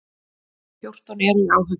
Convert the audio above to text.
Fjórtán eru í áhöfn.